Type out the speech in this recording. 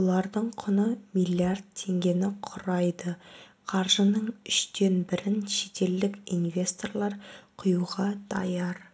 олардың құны млрд теңгені құрайды қаржының үштен бірін шетелдік инвесторлар құюға даяр